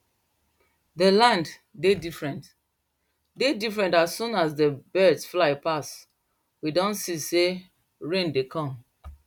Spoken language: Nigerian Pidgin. dey land dey different dey different as soon as dey birds fly pass we don see sey rain dey come